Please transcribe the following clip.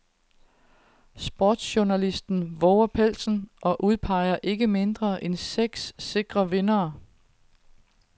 Sportsjournalisten vover pelsen og udpeger ikke mindre end seks sikre vindere.